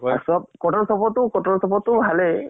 আৰু চব । support তো, support তো, ভালেই ।